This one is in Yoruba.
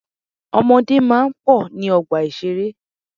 Ọmọdé máa ń pọ̀ ní ọgbà ìṣeré.